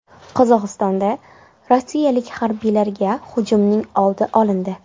Qozog‘istonda rossiyalik harbiylarga hujumning oldi olindi.